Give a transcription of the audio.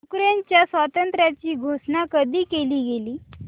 युक्रेनच्या स्वातंत्र्याची घोषणा कधी केली गेली